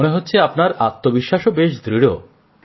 মনে হচ্ছে আপনার আত্মবিশ্বাসও বেশ দৃঢ়